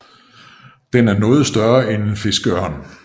Den er noget større end en fiskeørn